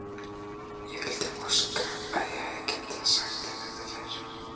Ég vildi óska að ég hefði getað sagt þér þetta fyrr.